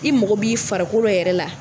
I mɔgɔ b'i farikolo yɛrɛ la